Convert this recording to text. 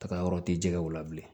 Taga yɔrɔ tɛ jɛgɛw la bilen